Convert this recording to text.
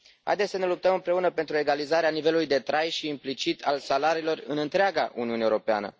Haideți să ne luptăm împreună pentru egalizarea nivelului de trai și, implicit, a salariilor în întreaga Uniune Europeană!